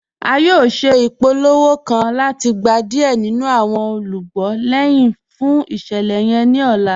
À yóò ṣẹ̀ ipòlówò ipòlówò kàn láti gbà diẹ̀ nínu awọn olúgbọ̀ lẹ́hin fún iṣẹ̀lẹ̀ yẹn ni ọ̀là.